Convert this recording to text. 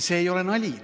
See ei ole nali.